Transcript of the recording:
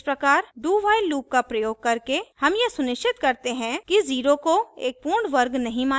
इस प्रकार dowhile loop का प्रयोग करके हम यह सुनिश्चित करते हैं कि 0 को एक पूर्ण वर्ग नहीं माना जाता है